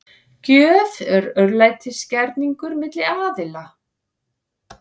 Gjöf er örlætisgerningur milli aðila.